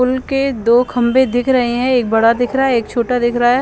पुल के दो खंभे दिख रहे हे एक बड़ा दिख रहा हे एक छोटा दिख रहा हे ।